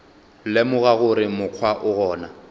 lemoga gore mokgwa o gona